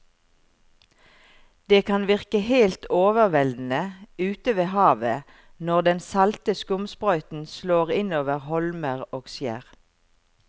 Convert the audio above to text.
Det kan virke helt overveldende ute ved havet når den salte skumsprøyten slår innover holmer og skjær.